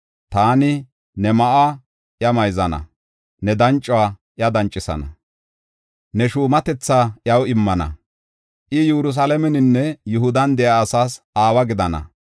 Taani ne ma7uwa iya mayzana; ne dancuwa iya dancisana; ne shuumatetha iyaw immana. I, Yerusalaameninne Yihudan de7iya asaas aawa gidana.